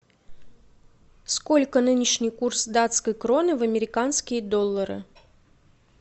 сколько нынешний курс датской кроны в американские доллары